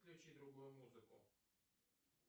включи другую музыку